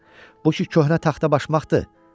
Bu ki köhnə taxtabaşmaqdır.